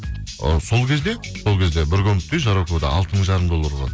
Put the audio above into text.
ы сол кезде сол кезде бір комнаталы үй жароковада алты мың жарым доллар болады